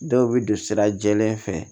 Dɔw bɛ don sira jɛlen fɛ